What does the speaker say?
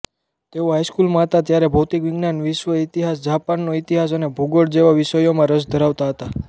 તેઓ હાઈસ્કૂલમાં હતાં ત્યારે ભૌતિકવિજ્ઞાન વિશ્વઈતિહાસ જાપાનનો ઇતિહાસ અને ભૂગોળ જેવા વિષયોમાં રસ ધરાવતા હતાં